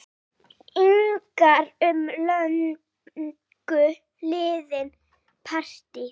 ingar um löngu liðið partý.